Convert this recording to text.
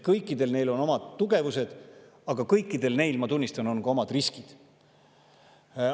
Kõikidel neil on omad tugevused, aga kõikidel neil, ma tunnistan, on ka omad riskid.